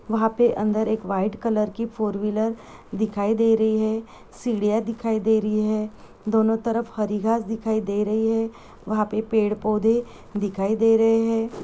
वहां पर अंदर एक वाइट कलर की फोर व्हीलर् दिखाई दे रही है सीढ़िया दिखाई दे रही है दोनो तरफ हरी घास दिखाई दे रही है वहां पे पेड़ पौधे दिखाई दे रहे है।